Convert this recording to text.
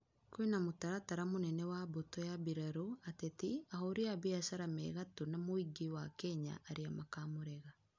Kwĩna mũtaratara mũnene wa mbutũ ya bĩrarũ, atetĩ, ahurĩ a biashara mē gatũ na mũingĩ wa Kenya arĩa makamũrega